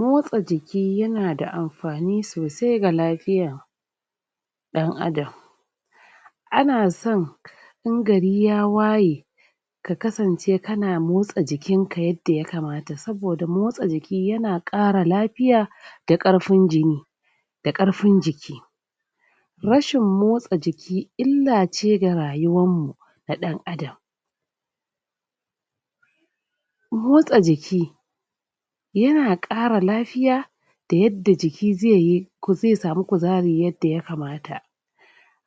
motsa jiki yana da amfani sosai ga lafiya dan adam ana son in gari ya waye ka kasance kana motsa jikinka yadda ya kamata saboda motsa jiki yana kara lafiya da karfin jini da karfin jiki rashin motsa jiki illa ce ga rayuwar mu na dan adam motsa jiki yana kara lafiya da yadda jiki zaiyi zai samu kuzari yadda ya kamata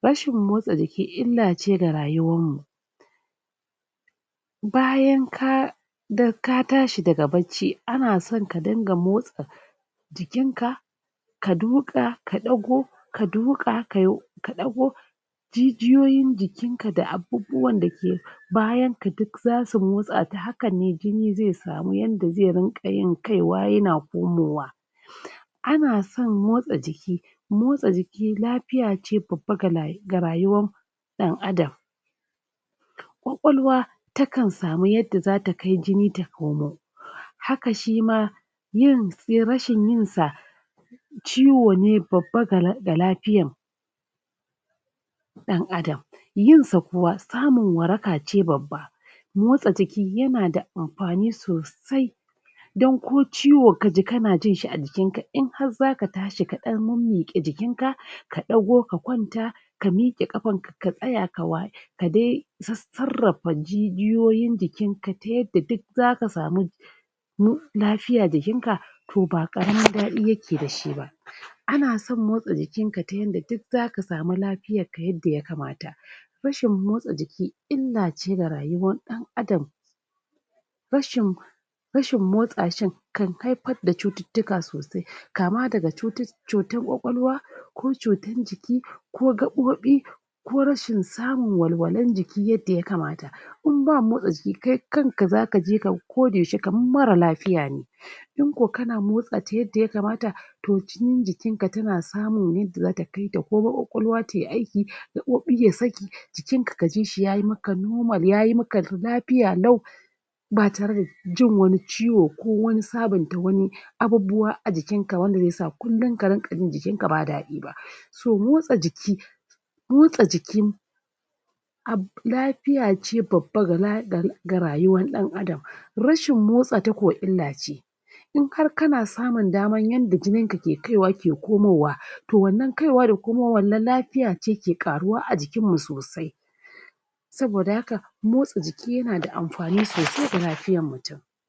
rashin motsa jiki illace ga rayuwar mu bayan ka tashi daga barci ana so ka dinga motsa jikinka ka duka ka dago ka duqa ka dago jijiyo yin jikin ka da da abun bayan ka duk zasu motsa ta haka ne jini zai samu yadda jini zai dinga kaiwa yana ko mowa ana son motsa jiki motsa jiki lafiya ce babba ga rayuwar mu ta dan adam ƙwaƙwalwa takan samu yadda zata kai jini ta komo haka shima rashin yin sa ciwo ne babba ga lafiya da adam yin sa kuwa samun waraka ce babba motsa jiki yana da amfani sosai dan ko ciwo kaji kana jin shi a jikinka in har zaka tashi ka dan miqe jikin ka ka dago ka kwan taka miqe kafanka ka tsaya ka waye kadai sarrarafa jijyoyin jikinka ta yadda duk zaka samu mu lafiya jikinka to ba karamin dadi yake da shi ba anason motsa jikin ka tayanda zaka samu lafiyar jikin ka yadda ya kamata rashin motsa jiki illace ga rayuwar dan adam rashin rashin motsa shin kan haifar da cututuka sosai kama daga cutar ƙwaƙwalwa ko cutar jiki ko gaɓoɓi ko rashin samu walwalal jiki yadda ya kamata in ba motsa jiki kai kan kaji ka ko da yaushe kamar mara lafiya in ko kana motsata yadda ya kamata to cikin jikin ka tana samun yadda zata kai ta ƙwaƙwalwa komo yi aiki gaɓoɓi ya saki jikin ka kaji yamaka nomal ya maka lafiya lau ba tare da jin ciwo ko wani sabon ta wani aabubuwa ajikinka ba wanda zai sa kullum ka dinga jin jikinka ba dadi ba so motsa jiki motsa jiki lafiya ce babba ga rayuwar da adam rashin motsa ta kuwa illa ce in har kana samun yadda jini ka kai wa ke komowa to wannan kaiwa da komo wan nan lafiya ce ke ke kara karuwa ajikin mu sosai saboda haka motsa jiki yana da amfani sasai ga lafiyar mutum